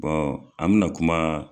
an mɛ na kuma